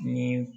Ni